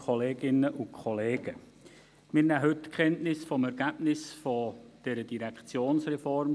Wir nehmen heute Kenntnis vom Ergebnis zur Phase I dieser Direktionsreform.